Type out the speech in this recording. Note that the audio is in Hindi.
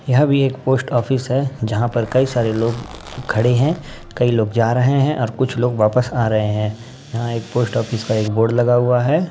यह भी एक पोस्ट ऑफिस है जहां पर कई सारे लोग खड़े हैं। कई लोग जा रहे हैं और कुछ लोग वापस आ रहे हैं। यहां एक पोस्ट ऑफिस का एक बोर्ड लगा हुआ है।